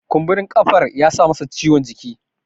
kumburin kafar ya sa masa ciwon jiki